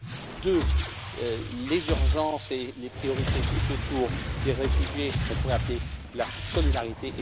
la deuxième, les urgences et les priorités tout autour des réfugiés, ce qu'on pourrait appeler la solidarité